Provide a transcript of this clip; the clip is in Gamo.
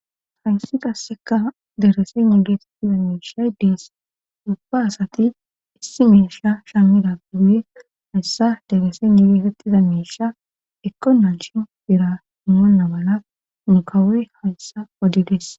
Hayssi qasseka derese negeetettiza meisha iddees ubba asati issi meisha shammida guuye hayssa derese negeetettiza meisha eqonancshi bira moonna mala mukawe hayssa odides.